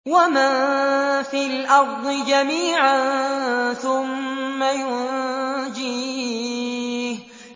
وَمَن فِي الْأَرْضِ جَمِيعًا ثُمَّ يُنجِيهِ